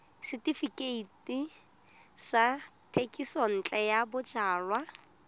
setefikeiti sa thekisontle ya bojalwa